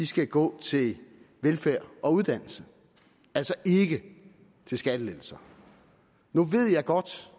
skal gå til velfærd og uddannelse altså ikke til skattelettelser nu ved jeg godt